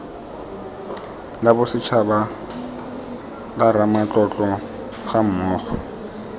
la bosetshaba la ramatlotlo gammogo